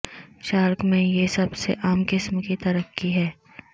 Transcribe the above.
shark میں یہ سب سے عام قسم کی ترقی ہے